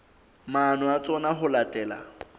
maano a tsona ho latela